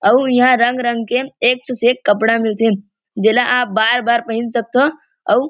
अउ इहाँ रंग-रंग के एक से एक कपड़ा मिलथे जेला आप बार-बार पहिन सकथो और --